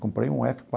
Comprei um efe